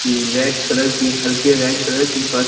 red colour की हल्के red colour की बस --